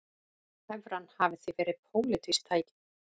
Evran hafi því verið pólitískt tæki